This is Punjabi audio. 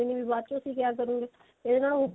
ਵਾਲੇ ਨੇ ਬੀ ਬਾਅਦ ਚੋਂ ਤੁਸੀਂ ਕਿਆ ਕਰੋਗੇ ਇਹਨਾਂ ਨੂੰ